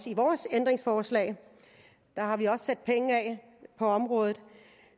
i vores ændringsforslag sat penge af på området